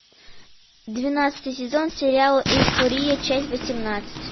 двенадцатый сезон сериала эйфория часть восемнадцать